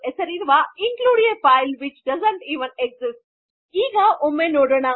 ಎಂದು ಹೆಸರಿರುವ include a file which doesn't even exist ಈಗ ಒಮ್ಮೆ ನೋಡೊಣ